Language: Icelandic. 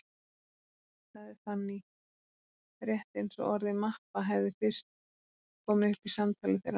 sagði Fanný, rétt eins og orðið mappa hefði fyrst komið upp í samtali þeirra núna.